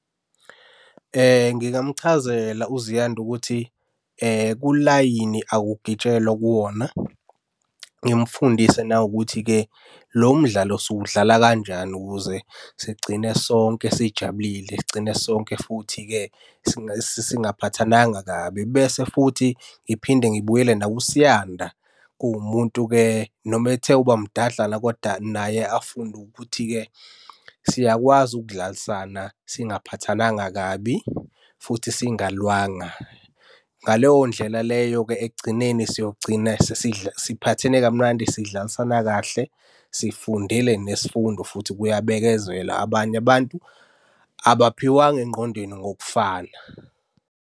Ngingamchazela uZiyanda ukuthi kulayini akugitshelwa kuwona. Ngimfundise nawukuthi-ke lo mdlalo siwudlala kanjani ukuze sigcine sonke sijabulile. Sigcine sonke futhi-ke singaphathananga kabi. Bese futhi ngiphinde ngibuyele nakuSiyanda, kuwumuntu-ke noma ethe ukuba mdadlana koda naye afunde ukuthi-ke siyakwazi ukudlalisana singaphathananga kabi, futhi singalwanga. Ngaleyo ndlela leyo-ke ekugcineni siyogcina siphathene kamnandi sidlalisana kahle, sifundile nesifundo, futhi kuyabekezelwa. Abanye abantu abaphiwanga engqondweni ngokufana.